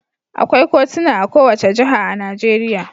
Akwai kotuna a kowace jiha a Najeriya.